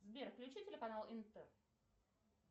сбер включи телеканал интер